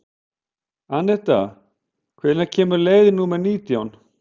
Anetta, hvenær kemur leið númer nítján?